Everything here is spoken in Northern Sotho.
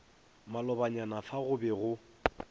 malobanyana fa go be go